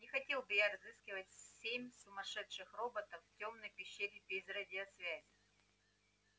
не хотел бы я разыскивать семь сумасшедших роботов в тёмной пещере без радиосвязи